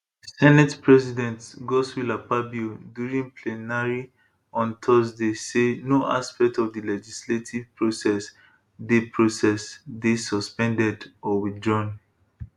senate president godswill akpabio during plenary on thursday say no aspect of di legislative process dey process dey suspended or withdrawn